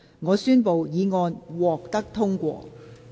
我宣布議案獲得通過。